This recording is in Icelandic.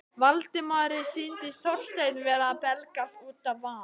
Valdimari sýndist Þorsteinn vera að belgjast út af van